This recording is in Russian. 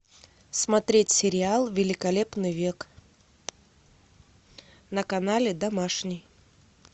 смотреть сериал великолепный век на канале домашний